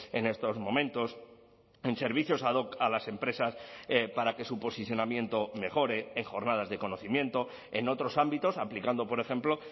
en estos momentos en servicios ad hoc a las empresas para que su posicionamiento mejore en jornadas de conocimiento en otros ámbitos aplicando por ejemplo